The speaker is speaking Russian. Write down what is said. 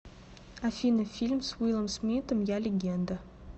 афина фильм с уилом смиттом я легенда